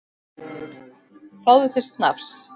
Fáðu þér snafs!